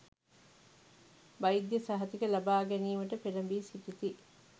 වෛද්‍ය සහතික ලබා ගැනීමට පෙළැඹී සිටිති.